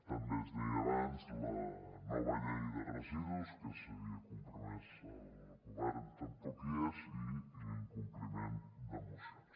també es deia abans la nova llei de residus a què s’havia compromès el govern tampoc hi és i l’incompliment de mocions